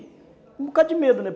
Um bocado de medo, né?